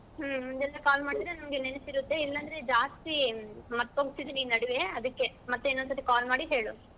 ಹ್ಮ್ ಮುಂಚೆನೆ call ಮಾಡಿದ್ರೆ ನಂಗೆ ನೆನಪಿರುತ್ತೆ ಇಲ್ಲಾಂದ್ರೆ ಜಾಸ್ತಿ ಮರ್ತು ಹೋಗ್ತಿದ್ದೀನಿ ಈ ನಡುವೆ ಅದಿಕ್ಕೆ ಮತ್ತೆ ಇನ್ನೊಂದ್ ಸರ್ತಿ call ಮಾಡಿ ಹೇಳು.